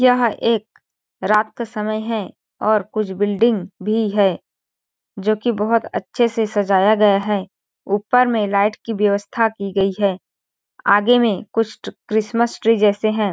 यह एक रात का समय है और कुछ बिल्डिंग भी है जो की बहोत अच्छे से सजाया गया है ऊपर में लाइट की व्यवस्था की गयी है आगे में कुछ ट्र क्रिसमस ट्री जैसे है।